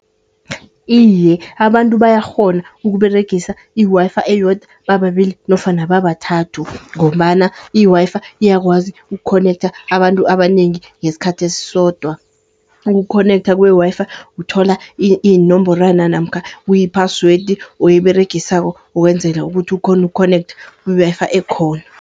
Iye abantu bayakghona, ukUberegisa i-Wi-Fi eyodwa bababili nofana babathathu. Ngombana i-Wi-Fi iyakwazi ukukhonektha abantu abanengi ngeskhathi esisodwa. Ukukhonektha kwe-Wi-Fi, uthola iinomborwana namkha kuyi-password oyiberegisako wenzele ukuthi ukhone ukhonektha ku-Wi-Fi ekhona.